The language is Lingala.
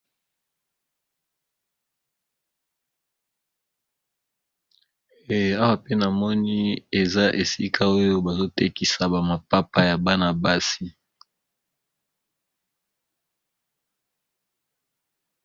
Awa pe na moni eza esika oyo bazotekisa ba mapapa ya bana-basi.